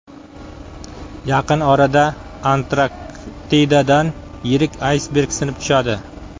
Yaqin orada Antarktidadan yirik aysberg sinib tushadi.